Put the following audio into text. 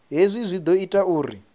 hezwi zwi ḓo ita uri